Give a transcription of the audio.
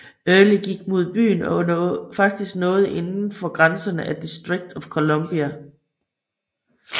Early gik mod byen og faktisk nåede inden for grænserne af District of Columbia